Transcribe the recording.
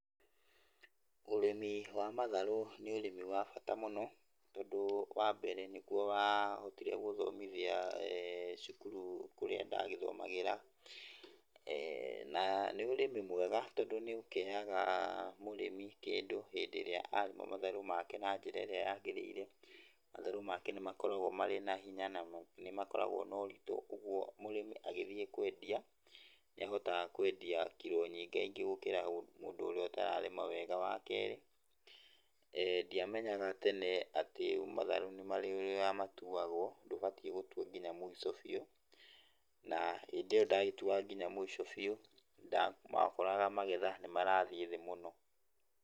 Ũrĩmi wa matharũ nĩ ũrĩmi wa bata mũno tondũ wa mbere nĩguo wahotire gũthomithia cukuru kũrĩa ndagĩthomagĩra na nĩ ũrĩmi mwega tondũ nĩũkĩheaga mũrĩmi kĩndũ hĩndĩ ĩrĩa arĩma matharũ make na njĩra ĩrĩa yagĩrĩire, matharũ make nĩ makoragwo marĩ na hinya na nĩmakoragwo noritũ, kũoguo mũrĩmi agĩthiĩ kwendia, nĩ ahotaga kwendia kiro nyinga ingĩ gũkĩra ũrĩa ũtararĩma wega. Wa kerĩ, ndiamenyaga tene atĩ matharũ nĩmarĩ ũrĩa matuagwo, ndũbatiĩ gũtua nginya mũico biũ na hĩndĩ ĩo ndatuaga nginya mũico biũ wakoraga magetha nĩ marathiĩ thĩ mũno.